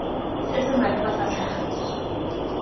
se se maleba sa tlhagiso